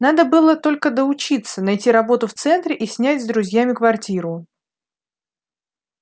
надо было только доучиться найти работу в центре и снять с друзьями квартиру